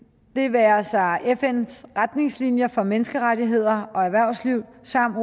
det være sig fns retningslinjer for menneskerettigheder og erhvervsliv samt